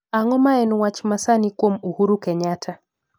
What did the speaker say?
Ang'o ma en wach masani kuom Uhuru Kenyatta